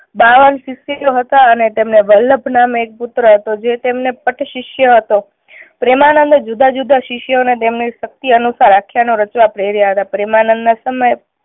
બાવન શિષ્યો હતા અને તેમણે વલ્લભ નામે એક પુત્ર હતો જે તેમને પટ શિષ્ય હતો. પ્રેમાનંદ એ જુદા જુદા શિષ્યો ને તેમની શક્તિ અનુસાર આખ્યાનો રચવા પ્રેર્યા હતા. પ્રેમાનંદ ના સમયે